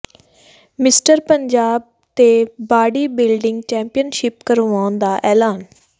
mister Punjab ਤੇ body building championship ਕਰਵਾਉਣ ਦਾ ਐਲਾਨ